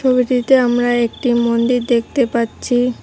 ছবিটিতে আমরা একটি মন্দির দেখতে পাচ্ছি।